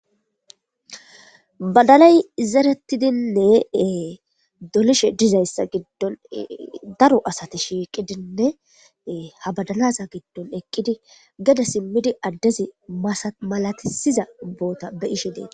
badalay zerettidinne dolishe dizayssa giddon daro asati shiiqidinne ha badanasa giddon eqqidi geda simmidi addezi malatisiza ubboota be ishe deeta